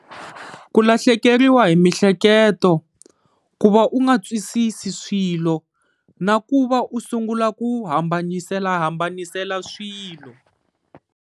Ku lahlekeriwa hi mihleketo, ku va u nga twisisi swilo, na ku va u sungula ku hambanisela hambanisela swilo.